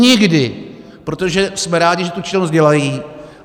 Nikdy, protože jsme rádi, že tu činnost dělají.